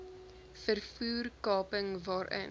vervoer kaping waarin